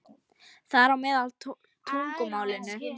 Þar á meðal tungumálinu.